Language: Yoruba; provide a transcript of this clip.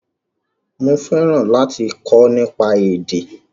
Mo fẹ́ràn láti kọ́ nípa èdè